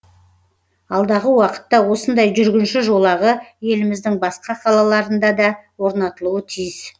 алдағы уақытта осындай жүргінші жолағы еліміздің басқа қалаларында да орнатылуы тиіс